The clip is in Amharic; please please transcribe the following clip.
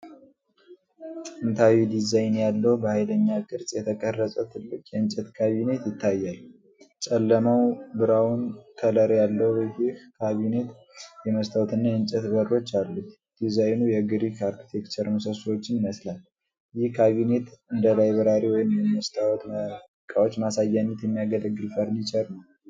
ጥንታዊ ዲዛይን ያለው፣ በሀይለኛ ቅርጽ የተቀረጸ ትልቅ የእንጨት ካቢኔት ይታያል። ጨለማው ብራውን ከለር ያለው ይህ ካቢኔት የመስታወት እና የእንጨት በሮች አሉት። ዲዛይኑ የግሪክ አርክቴክቸር ምሰሶዎችን ይመስላል። ይህ ካቢኔት እንደ ላይብረሪ ወይም ለመስታወት ዕቃዎች ማሳያነት የሚያገለግል ፈረኒቸር ነው?